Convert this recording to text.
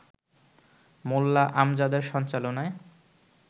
মোল্লা আমজাদের সঞ্চালনায়